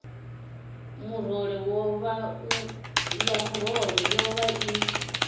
ya murole yo vha i